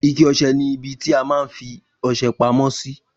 Ike ọsẹ ni ibi ti a má n fi ọsẹ pamó sí